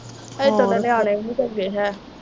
ਹਜੇ ਥੋੜੇ ਨਿਆਣੇ ਵੀ ਨੀ ਹੈ